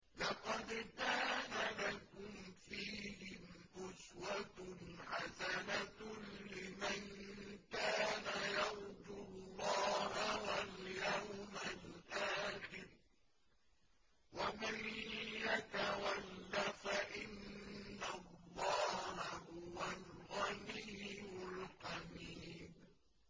لَقَدْ كَانَ لَكُمْ فِيهِمْ أُسْوَةٌ حَسَنَةٌ لِّمَن كَانَ يَرْجُو اللَّهَ وَالْيَوْمَ الْآخِرَ ۚ وَمَن يَتَوَلَّ فَإِنَّ اللَّهَ هُوَ الْغَنِيُّ الْحَمِيدُ